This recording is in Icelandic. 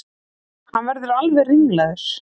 Hann verður alveg ringlaður.